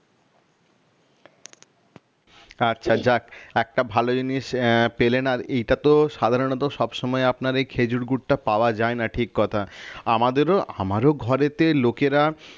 আচ্ছা যাক একটা ভালো জিনিস আহ পেলেন আর কি এইটাতো সাধারণত সব সময় আপনার এই খেজুর গুড়টা পাওয়া যায় না সঠিক কথা আমাদেরও আমারও ঘরেতে লোকেরা